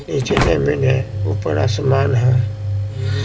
नीचे जमीन है ऊपर आसमान है।